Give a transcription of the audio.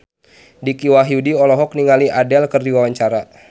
Dicky Wahyudi olohok ningali Adele keur diwawancara